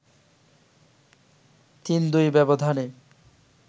৩-২ ব্যবধানে